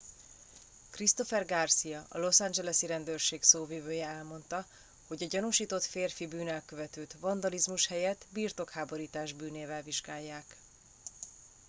christopher garcia a los angelesi rendőrség szóvivője elmondta hogy a gyanúsított férfi bűnelkövetőt vandalizmus helyett birtokháborítás bűnével vizsgálják